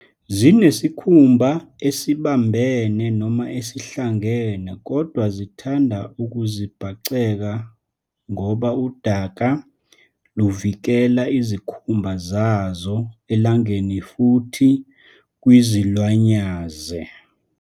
Zinesikhumba esibambene noma esihlangene kodwa zithanda ukuzibhaceka ngoba udaka luvikela izikhumba zazo elangeni futhi kwizilwanyaze.